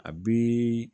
A bi